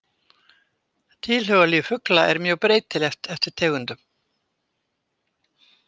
Tilhugalíf fugla er mjög breytilegt eftir tegundum.